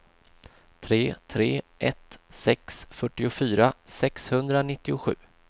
tre tre ett sex fyrtiofyra sexhundranittiosju